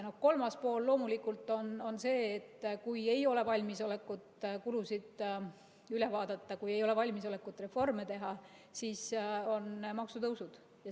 Kolmas pool on loomulikult see, et kui ei ole valmisolekut kulusid üle vaadata, kui ei ole valmisolekut reforme teha, siis tulevad maksutõusud.